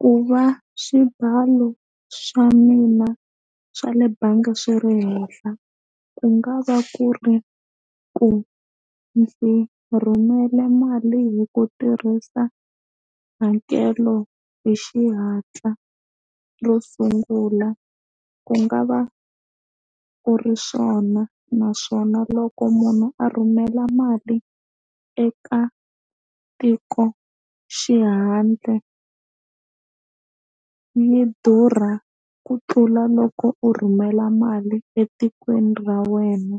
Ku va swibalo swa mina swa le bangi swi ri henhla ku nga va ku ri ku ndzi rhumela mali hi ku tirhisa hakelo hi xihatla ro sungula ku nga va ku ri swona naswona loko munhu a rhumela mali eka tiko xihandle yi durha ku tlula loko u rhumela mali etikweni ra wena